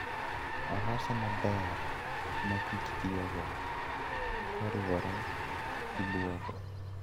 Olose maber ma kich tiyogo koriwore gi duogo.